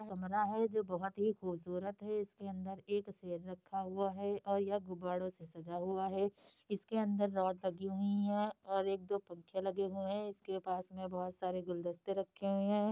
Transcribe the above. कमरा है जो की बहोत ही खूबसूरत हैं| इसके अंदर एक स्टेज रखा हुए हैं और ये गुब्बाड़ो से सजा हैं| इस के अन्दर रॉड लगीं हुई हैं और एक दो पंखे लगे हुए हैं| इसके पास में बहोत सारे गुलदस्ते रखें हैं।